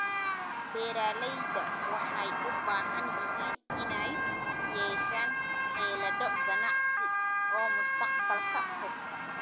Beeralayda waxay u baahan yihiin inay yeeshaan xeelado ganacsi oo mustaqbalka fog ah.